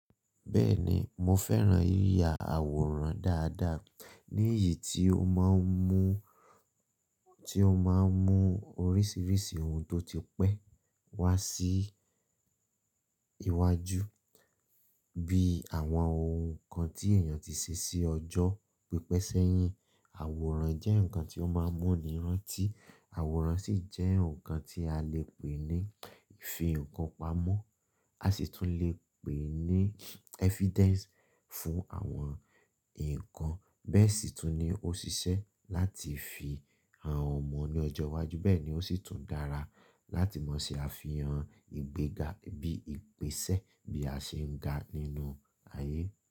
Bẹ́ẹ̀ni, mo fẹ́ran yiya àwòrán dáadáa. Níyì tí ó máa ń mú, tí ó máa ń mú oríṣiríṣi ohun tó ti pẹ́ wá sí iwájú bí àwọn ohun kan tí èèyàn ti se sí ọjọ́ pípẹ́sẹ́yìn. Àwòrán jẹ́ ǹkan tí ó máa ń mú ni ìrántí, àwòrán sì jẹ́ ǹkan tí a lè pè ní fi ǹkan pamọ́. A sì tún lè pè é ní evidence fún àwọn ǹkan. Bẹ́ẹ̀ sì tún ní ó sisẹ́ láti fi hàn ọmọ ní ọjọ́ iwájú. Bẹ́ẹ̀ ni ó sì tún dára láti mọ̀ sí àfihàn ìgbéga bí ìpèsẹ bí a ṣe ń ga nínú ayé.